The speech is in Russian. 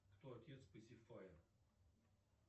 кто отец пэсифая